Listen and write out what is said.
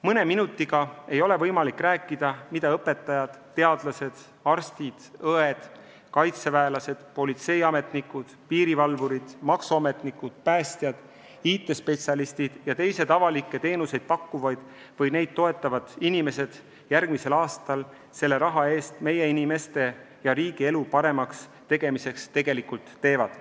Mõne minutiga ei ole võimalik rääkida, mida õpetajad, teadlased, arstid, õed, kaitseväelased, politseiametnikud, piirivalvurid, maksuametnikud, päästjad, IT-spetsialistid ja teised avalikke teenuseid pakkuvad või neid toetavad inimesed järgmisel aastal selle raha eest meie inimeste ja riigi elu paremaks muutmiseks tegelikult teevad.